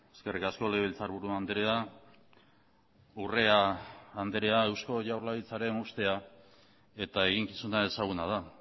eskerrik asko legebiltzarburu andrea urrea andrea eusko jaurlaritzaren ustea eta eginkizuna ezaguna da